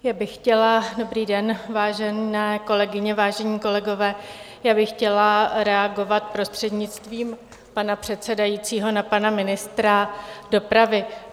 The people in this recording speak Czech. Já bych chtěla, dobrý den, vážené kolegyně, vážení kolegové, já bych chtěla reagovat, prostřednictvím pana předsedajícího, na pana ministra dopravy.